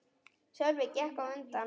Sölvi gekk á undan.